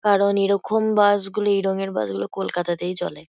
কারণ এরকম বাস -গুলি এই রঙের বাস -গুলো কলকাতাতেই চলে।